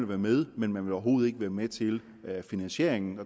være med men at man overhovedet ikke vil være med til finansieringen